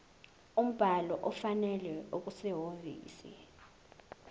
umbhalo ofanele okusehhovisi